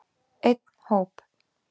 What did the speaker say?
Einn hóp.